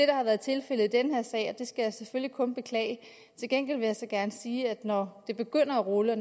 der har været tilfældet i den her sag og det skal jeg selvfølgelig kun beklage til gengæld vil jeg så gerne sige at når det begynder at rulle og